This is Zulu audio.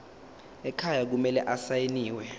ekhaya kumele asayiniwe